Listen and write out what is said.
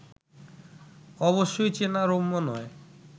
অবশ্যই চেনা রম্য নয়